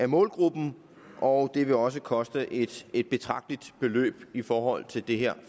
målgruppen og det vil også koste et et betragteligt beløb i forhold til det her